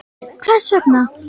HVERS VEGNA?